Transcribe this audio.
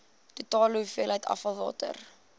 totale hoeveelheid afvalwater